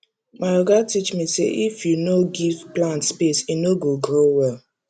my oga teach me say if you no give plant space e no go grow well